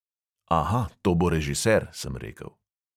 "Aha, to bo režiser," sem rekel.